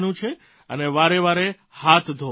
અને વારેવારે હાથ ધોવાના છે